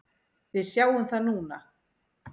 Við sjáum það núna.